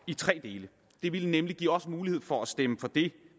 i tre dele det ville nemlig give os mulighed for at stemme for det